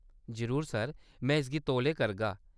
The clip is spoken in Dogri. जरूर सर, में इसगी तौले करगा।